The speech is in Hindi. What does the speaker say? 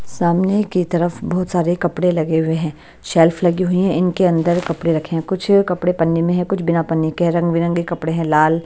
सामने की तरफ़ बहुत सारे कपड़े लगे हुए हैं शेल्फ लगी हुई हैं इनके अंदर कपड़े रखे हैं कुछ कपड़े पन्नी में हैं कुछ बिना पन्नी के रंग-बिरंगे कपड़े हैं लाल--